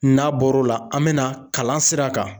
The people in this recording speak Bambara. N'a bɔr'o la an bɛna kalan sira kan.